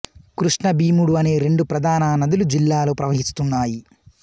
కృష్ణ భీముడు అనే రెండు ప్రధాన నదులు జిల్లాలో ప్రవహిస్తున్నాయి